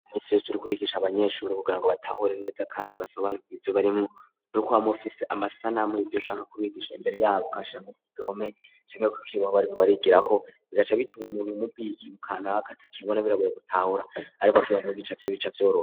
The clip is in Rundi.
Iminsi yose uriko urigisha abanyeshuri kugira ngo batahure neza kandi basobanukirwe ivyo barimwo nuko wama ufise amasanamu yivyo ushaka kubigisha imbere yabo ukayashira nko kugihome canke ku kibaho bariko barigira ko bigaca bituwe umuntu umubwiye ikintu kanaka kimbona biraboye gutahura ariko akibonye bica vyoroha.